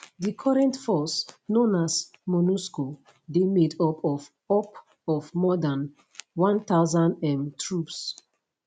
di current force known as monusco dey made up of up of more dan 10000 um troops